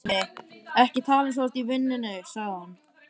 Ekki tala eins og þú sért í vinnunni, sagði hann.